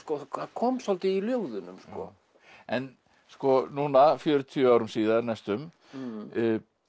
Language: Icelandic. kom svolítið í ljóðunum en núna fjörutíu árum síðar næstum